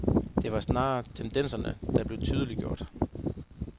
Det var snarere tendenserne, der blev tydeliggjort.